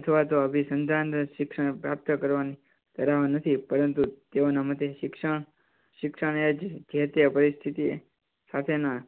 અથવા તો અભિસંધાન શિક્ષણ પ્રાપ્ત કરવાનું કરાવાનું નથી પરંતુ તેઓ ના મતે શિક્ષણ, શિક્ષણ એજ જે તે પરિસ્થિતિ સાથેના